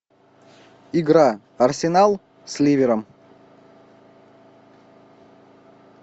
игра арсенал с ливером